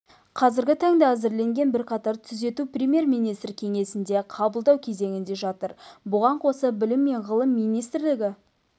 қазіргі таңда әзірленген бірқатар түзету премьер-министр кеңсесінде қабылдау кезеңінде жатыр бұған қоса білім және ғылым министрлігі